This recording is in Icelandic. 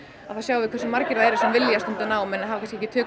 þá sjáum við hversu margir vilja stunda nám en hafa kannski ekki tök